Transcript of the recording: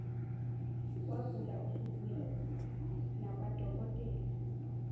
wagula usubuya nakwadokotela